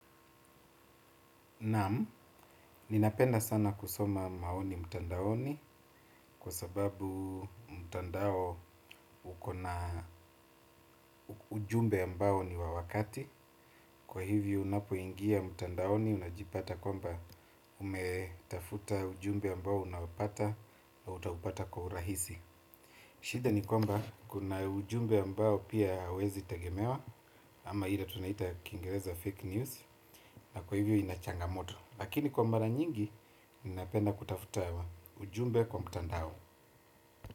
Naamu, ninapenda sana kusoma maoni mtandaoni kwa sababu mtandao uko na ujumbe ambao ni wa wakati. Kwa hivyo unapo ingia mtandaoni unajipata kwamba umetafuta ujumbe ambao unapata na utaupata kwa urahisi. Shida ni kwamba kuna ujumbe ambao pia huwezitegemewa ama hila tunaita kingereza fake news na kwa hivyo ina changamoto. Lakini kwa mara nyingi, ninapenda kutafuta. Ujumbe kwa mtandao.